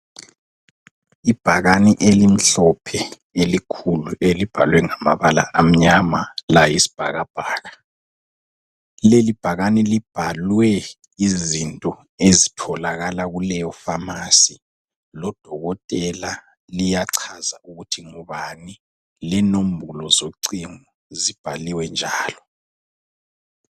Ibhakane elimhlophe elikhulu elibhalwe ngamabala amnyama layisibhakabhaka. Leli bhakane libhalwe izinto ezitholakala kuleyifamasi lodokotela, liyachaza ukuthi ngubani lenombolo zocingo zibhaliwe njalo.